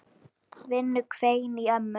Vinnu hvein í ömmu.